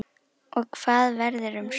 Og hvað verður um Sögu?